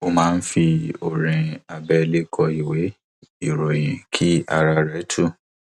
ó máa ń fi orin abẹlé kọ ìwé ìròyìn kí ara rẹ tú